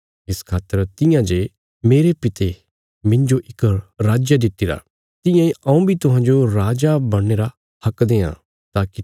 इस खातर तियां जे मेरे पिता मिन्जो इक राज दित्तिरा तियां इ हऊँ बी तुहांजो राजा बणने रा हक देआं ताकि